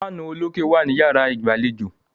Fáànù olókè wà ní yàrá ìgbàlejò.